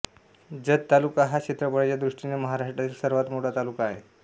जत तालुका हा क्षेत्रफळाच्या दृष्टीने महाराष्ट्रातील सर्वात मोठा तालुका आहे